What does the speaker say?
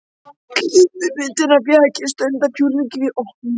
Klippimyndirnar fékk ég stundarfjórðungi fyrir opnun.